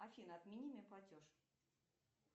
афина отмени мне платеж